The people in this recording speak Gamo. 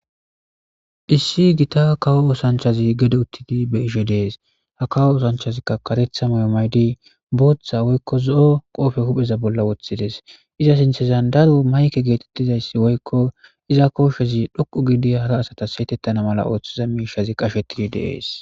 Issi gita kawo oosanchazi gede uttidi be ishe dees ha kawo osanchazikka karetha meyomaydi booththa woykko zo7o qoofe hupheza bolla woththides iza sinthezan darwo mayke geetettizayssi woykko iza koshshezi dhoqu giidi hara asatas saytettana mala ooththiza miishazi qashettidi deees.